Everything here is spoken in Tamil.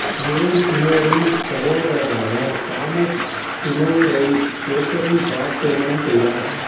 ஜேன் சீமோரின் சகோதரரான தாமஸ் சீமௌரை கேத்தரின் பார் திருமணம் செய்தார்